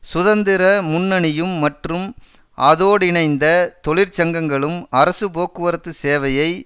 சுதந்திர முன்னணியும் மற்றும் அதோடிணைந்த தொழிற்சங்களும் அரசு போக்குவரத்து சேவையை